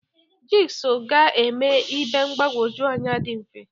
Jig sọ ga-eme ibe mgbagwoju anya dị mfe.